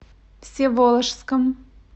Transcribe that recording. всеволожском